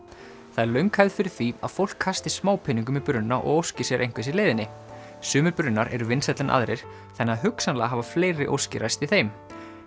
það er löng hefð fyrir því að fólk kasti smápeningum í brunna og óski sér einhvers í leiðinni sumir brunnar eru vinsælli en aðrir þannig að hugsanlega hafa fleiri óskir ræst í þeim